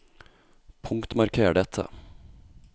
Punktmarker dette